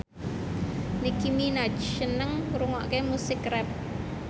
Nicky Minaj seneng ngrungokne musik rap